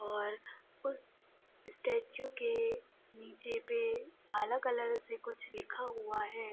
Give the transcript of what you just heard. और उस स्टेचू के नीचे पे काला कलर से कुछ लिखा हुआ है।